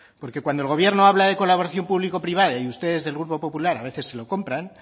porque cuando el gobierno habla de colaboración público privada y ustedes del grupo popular se lo compran